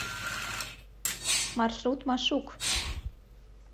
маршрут машук